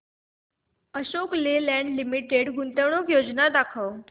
Ashok Leyland limited गुंतवणूक योजना दाखव